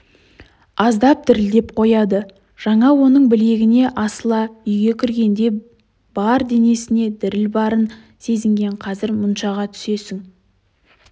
аздап дірілдеп қояды жаңа оның білегіне асыла үйге кіргенде де бар денесінде діріл барын сезінген қазір мұншаға түсесің